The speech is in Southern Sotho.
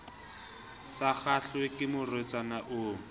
sa kgahlwe ke morwetsana o